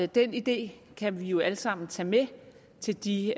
den idé kan vi jo alle sammen tage med til de